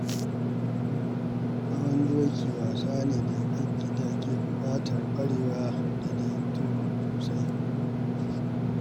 Hawan doki wasa ne da ke buƙatar ƙwarewa da daidaito sosai.